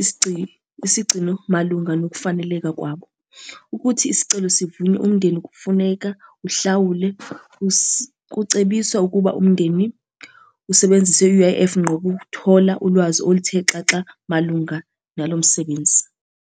isigcino, isigcino malunga nokufaneleka kwabo, ukuthi isicelo sivunywe umndeni kufuneka ahlawule, kucebiswa ukuba umndeni usebenzise i-U_I_F ngqo ukuthola ulwazi oluthe xaxa malunga nalo msebenzi.